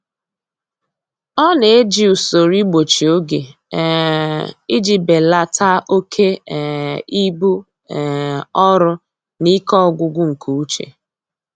Ọ na-eji usoro igbochi oge um iji belata oke um ibu um ọrụ na ike ọgwụgwụ nke uche.